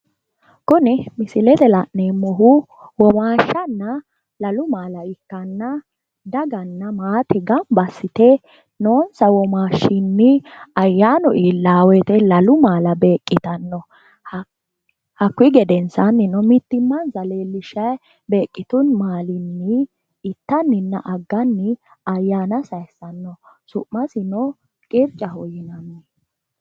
Kuni misilete la'neemohu womashshanna maala ikkanna daga ayyaanu iillano woyte wote fushidhe lalu maala ittano su'masino qircaho yinanni